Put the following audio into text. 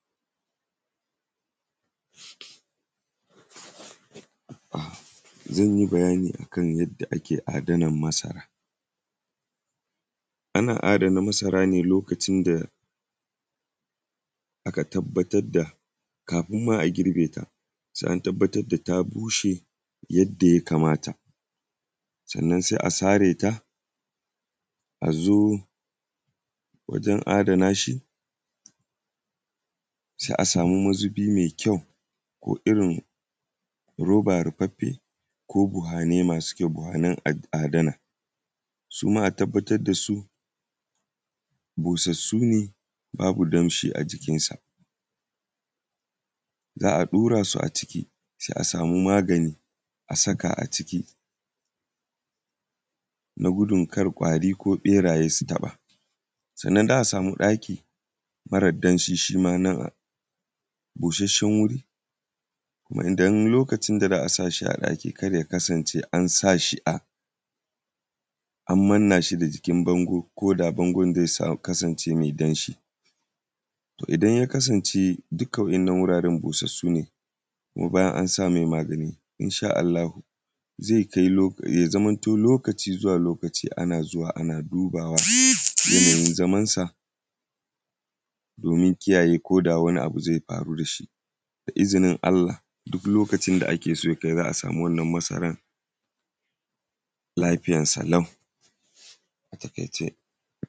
Zan yi bayani a kan yadda kae adanan masara. Ana adana masara ne lokacin da aka tabbatad da, kafin ma a girbe ta, se an tabbatad da ta bushe yadda ya kamata, sannan se a sare ta, a zo wajen adana shi, se a sami mazubi me kyau ko irin roba rufaffe ko buhane masu kyau, buhanan adana. Su ma a tabbatad da su, busassu ne, babu damshi a jikin sa. Za a ɗura su a ciki, se a samu magani a saka a ciki na gudun kar ƙwari ko ƃeraye su taƃa. Sanna, za a samu ɗaki marar damshi shi ma nan; busasshen wuri, kuma idan lokacin da za a sa shi a ɗaki kar ya kasance an sa shi a, an manna shi da jikin bango ko da bangon ze sa; kasance me damshi. To, idan ya kasance dika waɗannan wuraren busassu ne, kuma bayan an sa me magani, in sha Aallahu, ze kai lo; ya zamanto lokaci zuwa lokaci ana zuwa ana dubawa, yanayin zaman sa, domin kiyaye ko da wani abu ze faru da shi. Da izinin Allah, duk lokacin da ake so ya kai za a samu wannan masaran lafiyansa lau, a taƙaice.